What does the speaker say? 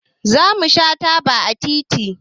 Zamu sha taba a titi